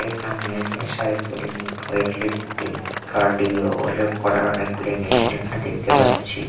এখানে cycling weight lifting cardio এসব করার অনেকগুলি মেশিন এখানে দেখতে পাচ্ছি।